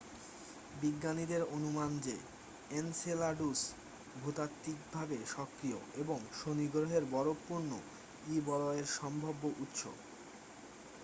বিজ্ঞানীদের অনুমান যে এনসেলাডুস ভূতাত্বিকভাবে সক্রিয় এবং শনি গ্রহের বরফপূর্ণ ই-বলয়ের সম্ভাব্য উৎস